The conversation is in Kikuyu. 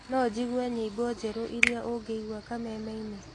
no njĩgũe nyĩmbo njerũ ĩrĩa ũngĩĩgũa kamemeĩnĩ